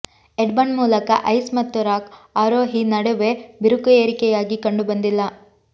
Edmund ಮೂಲಕ ice ಮತ್ತು rock ಆರೋಹಿ ನಡುವೆ ಬಿರುಕು ಏರಿಕೆಯಾಗಿ ಕಂಡುಬಂದಿಲ್ಲ